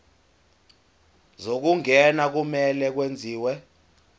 zokungena kumele kwenziwe